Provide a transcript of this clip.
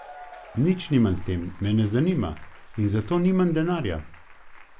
Nič nimam s tem, me ne zanima in za to nimam denarja.